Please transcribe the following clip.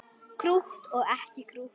Krútt og ekki krútt.